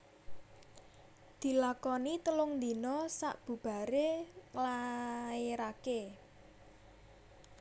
Dilakoni telung dina sabubaré nglaéraké